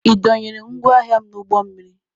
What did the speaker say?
Ị dọnyere m ngwa ahịa m n'ụgbọ mmiri?